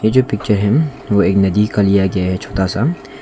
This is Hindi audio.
ये जो पिक्चर है वो एक नदी का लिया गया है छोटा सा।